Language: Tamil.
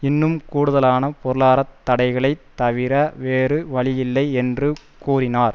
இன்னும் கூடுதலான பொருளாதார தடைகளை தவிர வேறு வழி இல்லை என்று கூறினார்